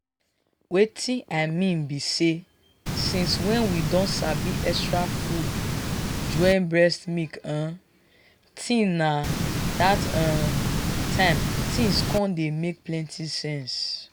wetin i mean be say since when we don sabi extra food join breast milk um thing na that um time things con dey make plenty sense.